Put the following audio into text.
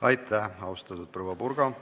Aitäh, austatud proua Purga!